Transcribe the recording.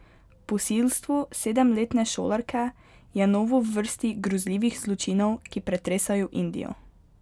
Posilstvo sedemletne šolarke je novo v vrsti grozljivih zločinov, ki pretresajo Indijo.